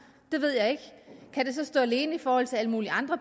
det ved jeg ikke kan det så stå alene i forhold til alle mulige andre